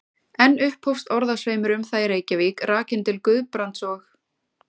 Enn upphófst orðasveimur um það í Reykjavík, rakinn til Guðbrands og